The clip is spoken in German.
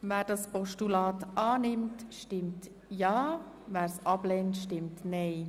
Wer es annimmt, stimmt ja, wer es ablehnt, stimmt nein.